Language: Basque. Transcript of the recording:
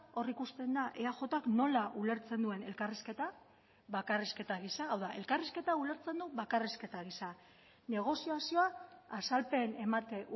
hor ikusten da eajk nola ulertzen duen elkarrizketa bakarrizketa gisa hau da elkarrizketa ulertzen du bakarrizketa gisa negoziazioa azalpen emate